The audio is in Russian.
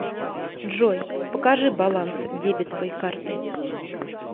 джой покажи баланс дебетовой карты